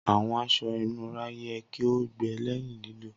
Awọn aṣọ inura yẹ ki o gbẹ lẹhin lilo.